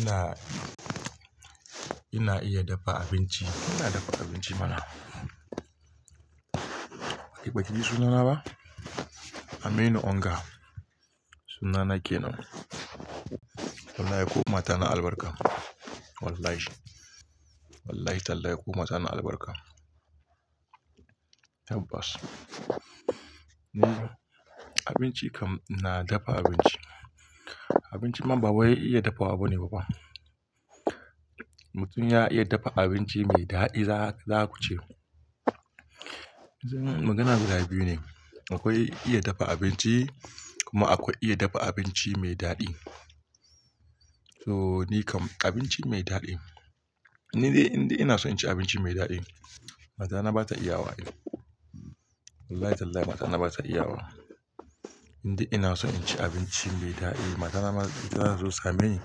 Ina, ina iya dafa abinci. Ina dafa abinci mana. Ba ki baki ji sunana ba? Aminu Onga. Sunana kenan. Wallahi ko mata na albarka. Wallahi. Wallahi tallahi ko mata na albarka. Tabbas. Ni abinci kam na dafa abinci. Abinci ma ba wai iya dafa wa ba ne bafa. Mutum ya iya dafa abinci mai daɗi za ku ce. Zan magana guda biyu ne. Akwai iya dafa abinci kuma akwai iya dafa abinci mai daɗi. So ni kam abinci mai daɗi. Ni dai indai ina so in ci abinci mai daɗi mata na ba ta iya wa ai. Wallahi tallahi mata na ba ta iya wa. Indai ina son in ci abinci mai daɗi mata ma zata zo same ni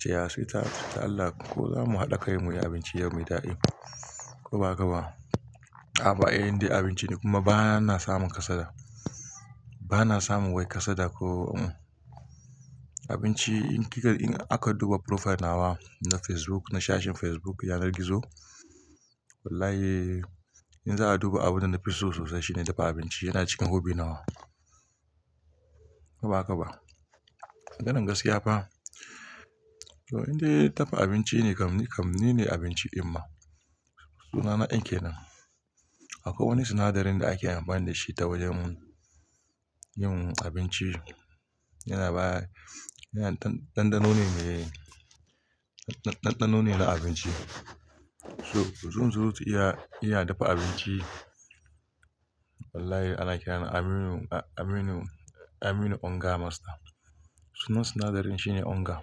cewa sweetheart dan Allah ko zamu haɗa kai mu yi abinci yau mai daɗi ko ba haka ba. Ay inda abinci ne kuma bana samun kasada. Bana samun wai kasada ko. Abinci in kika, in aka duba profile nawa na Facebook, na sashin Facebook yanar gizo wallahi in za'a duba abunda nafi so sosai shine dafa abinci yana cikin hobby nawa. Ko ba haka ba? Maganan gaskiya fa. To indai dafa abinci ne kam ni kam ni ne abinci in ma sunana en kenan. Akwai wani sinadarin da ake amfani da shi ta wajen yin abinci yana baya, yana ɗanɗano ne mai, ɗanɗano ne na abinci. So zunzurutun iya, iya dafa abinci wallahi ana kirani Aminu, Aminu, Aminu Onga master. Sunan sinadarin shine Onga.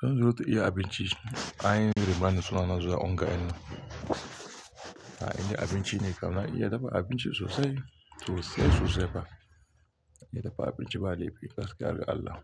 Zunzuruta iya abinci an yi raba ni sunana zuwa Onga yan nan. A inda abinci ne kam na iya dafa abinci sosai sosai sosai fa. Ina dafa abinci ba laifi gaskiya ga Allah.